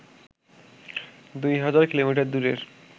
দুই হাজার কিলোমিটার দূরের